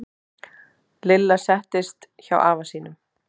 Lilla settist hjá afa sínum.